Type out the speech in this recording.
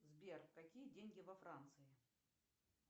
сбер какие деньги во франции